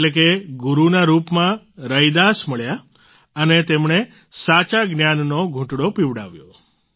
એટલે કે ગુરૂના રૂપમાં રૈદાસ મળ્યા અને તેમણે સાચા જ્ઞાનનો ઘુંટડો પીવડાવ્યો